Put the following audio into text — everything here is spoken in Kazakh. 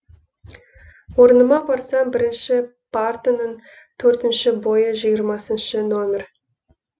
орныма барсам бірінші партаның төртінші бойы жиырмасыншы нөмір